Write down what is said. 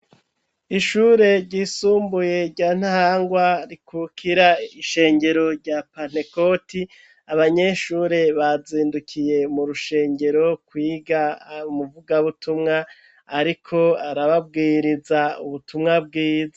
Ishure ryisumbuye rya Ntahangwa rikurira ishengero rya Pantekoti abanyeshure bazindukiye mu rushengero kwiga umuvuga butumwa, ariko arababwiriza ubutumwa bwiza.